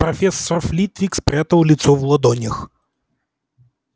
профессор флитвик спрятал лицо в ладонях